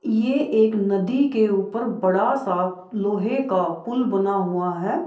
ये एक नदी के ऊपर बड़ा सा लोहे का पुल बना हुआ है।